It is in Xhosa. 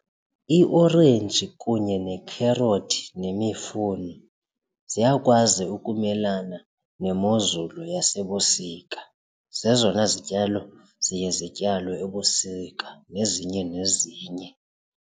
Iorenji kunye nekherothi nemifuno ziyakwazi ukumelana nemozulu yasebusika, zezona zityalo ziye zityalwe ebusika nezinye nezinye.